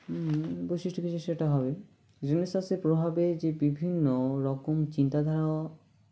হুম বৈশিষ্ট্য কিছু সেটা হবে Renaissance -এর প্রভাবে যে বিভিন্ন রকম চিন্তাধারা